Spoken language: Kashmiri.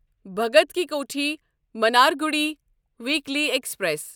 Bhagat ki Kothi Mannargudi weekly express